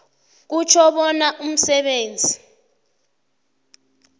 kutjho bona umsebenzi